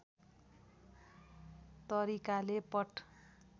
तरिकाले पट